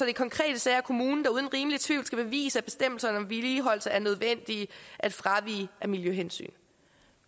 i konkrete sager er kommunen der uden rimelig tvivl skal bevise at bestemmelserne om vedligeholdelse er nødvendige at fravige af miljøhensyn